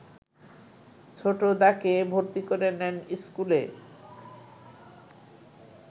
ছোটদাকে ভর্তি করে নেন ইস্কুলে